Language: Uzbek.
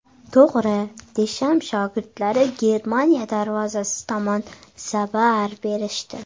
To‘g‘ri, Desham shogirdlari Germaniya darvozasi tomon zarbaar berishdi.